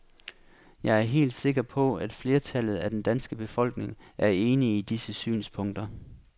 Jeg er helt sikker på at flertallet af den danske befolkning er enig i disse synspunkter.